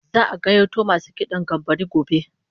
Za'a gayyato masu kidan gambara gobe